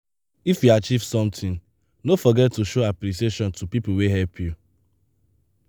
if you achieve something no forget to show appreciation to people wey help you.